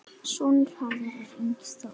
Sonur Harðar er Ingi Þór.